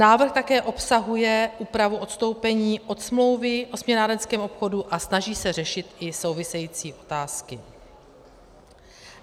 Návrh také obsahuje úpravu odstoupení od smlouvy o směnárenském obchodu a snaží se řešit i související otázky.